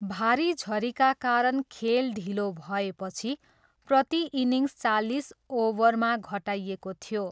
भारी झरीका कारण खेल ढिलो भएपछि प्रति इनिङ्स चालिस ओभरमा घटाइएको थियो।